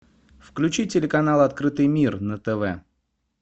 включи телеканал открытый мир на тв